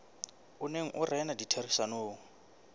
o neng o rena ditherisanong